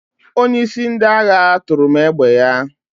Onyeisi ndị agha tụrụ m égbè ya.